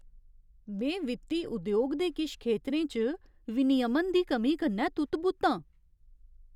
में वित्ती उद्योग दे किश खेतरें च विनियमन दी कमी कन्नै तुत्त बुत्त आं।